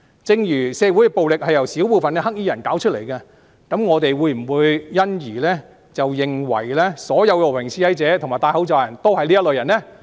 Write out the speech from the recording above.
正如社會暴力由少部分"黑衣人"造成，我們會否因而認為所有和平示威者及戴口罩的人都是這類人呢？